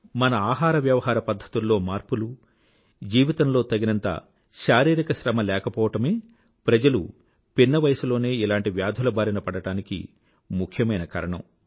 మన ఆహారవ్యవహార పధ్ధతుల్లో మార్పులు జీవితంలో తగినంత శారీరిక శ్రమ లేకపోవడమే ప్రజలు పిన్న వయసులోనే ఇలాంటి వ్యాధుల బారిన పడడానికి ముఖ్యమైన కారణం